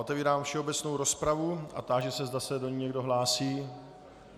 Otevírám všeobecnou rozpravu a táži se, zda se do ní někdo hlásí.